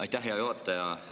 Aitäh, hea juhataja!